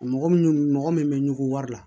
Mɔgɔ min mɔgɔ min bɛ ɲugu wari la